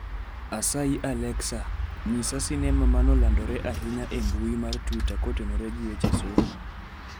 asayi Alexa nyisa sinema mane olandore ahinya e mbui mar twita kotenore gi weche somo